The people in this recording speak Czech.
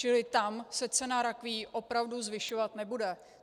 Čili tam se cena rakví opravdu zvyšovat nebude.